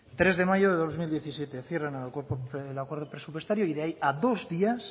tres de mayo de dos mil diecisiete cierran el acuerdo presupuestario y de ahí a dos días